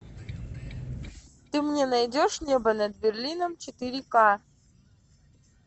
ты мне найдешь небо над берлином четыре ка